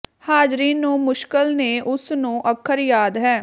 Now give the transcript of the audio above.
ਹਾਜ਼ਰੀਨ ਨੂੰ ਮੁਸ਼ਕਿਲ ਨੇ ਉਸ ਨੂੰ ਅੱਖਰ ਯਾਦ ਹੈ